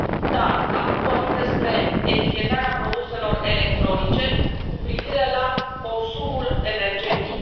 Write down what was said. Dar acum vorbim despre etichetarea produselor electronice cu privire la consumul energetic.